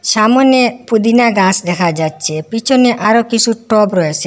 সামোনে পুদিনা গাস দেখা যাচ্ছে পিছনে আরও কিসু টব রয়েসে।